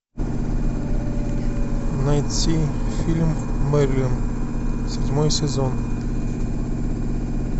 найти фильм мерлин седьмой сезон